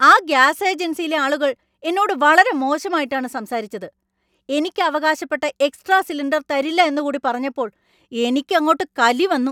ആ ഗ്യാസ് ഏജൻസിയിലെ ആളുകൾ എന്നോട് വളരെ മോശമായിട്ടാണ് സംസാരിച്ചത്. എനിക്ക് അവകാശപ്പെട്ട എക്സ്ട്രാ സിലിണ്ടർ തരില്ല എന്നുകൂടി പറഞ്ഞപ്പോൾ എനിക്കങ്ങോട്ട് കലി വന്നു.